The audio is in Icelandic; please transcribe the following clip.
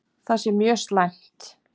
Það sé mjög slæmt.